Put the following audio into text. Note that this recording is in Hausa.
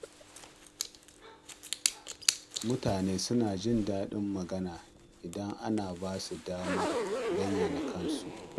Mutane suna jin daɗin magana idan ana ba su damar bayyana kansu.